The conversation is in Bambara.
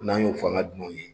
N'an ye o fanga ka dunanw ye.